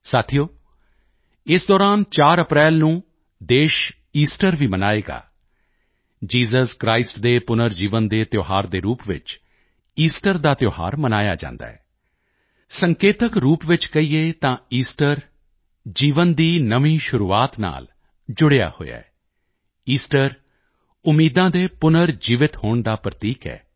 ਸਾਥੀਓ ਇਸ ਦੌਰਾਨ 4 ਅਪ੍ਰੈਲ ਨੂੰ ਦੇਸ਼ ਈਸਟਰ ਵੀ ਮਨਾਏਗਾ ਜੇਸਸ ਕ੍ਰਿਸਟ ਦੇ ਪੁਨਰ ਜੀਵਨ ਦੇ ਤਿਓਹਾਰ ਦੇ ਰੂਪ ਵਿੱਚ ਈਸਟਰ ਦਾ ਤਿਓਹਾਰ ਮਨਾਇਆ ਜਾਂਦਾ ਹੈ ਸੰਕੇਤਕ ਰੂਪ ਵਿੱਚ ਕਹੀਏ ਤਾਂ ਈਸਟਰ ਜੀਵਨ ਦੀ ਨਵੀਂ ਸ਼ੁਰੂਆਤ ਨਾਲ ਜੁੜਿਆ ਹੋਇਆ ਈਸਟਰ ਉਮੀਦਾਂ ਦੇ ਪੁਨਰ ਜੀਵਿਤ ਹੋਣ ਦਾ ਪ੍ਰਤੀਕ ਹੈ